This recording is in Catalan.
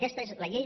aquesta és la llei